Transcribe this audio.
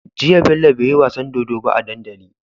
Jiya bello beyi wasan dodo ba a dandali